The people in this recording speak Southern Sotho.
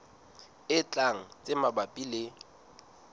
e tlang tse mabapi le